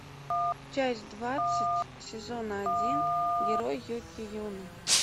часть двадцать сезона один герой юки юна